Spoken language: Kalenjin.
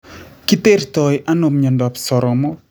Kitertoi ano myondap soromook